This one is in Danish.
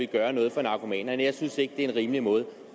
at gøre noget for narkomanerne jeg synes ikke det er en rimelig måde